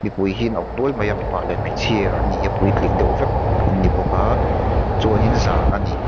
mipui hi an awm nual mai a mipa leh hmeichhia an ni a puitling deuh vek an ni bawk a chuanin zan a ni.